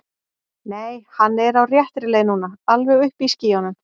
Nei, hann er á réttri leið núna. alveg uppi í skýjunum.